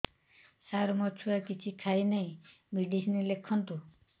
ସାର ମୋ ଛୁଆ କିଛି ଖାଉ ନାହିଁ ମେଡିସିନ ଲେଖନ୍ତୁ